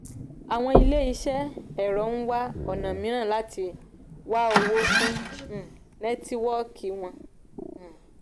àwọn ilé iṣẹ́ ẹ̀rọ ń wá ona mííràn láti wá owó fún um netiwoki wọn. um